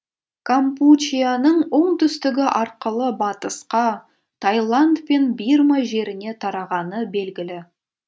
кампучияның оңтүстігі арқылы батысқа таиланд пен бирма жеріне тарағаны белгілі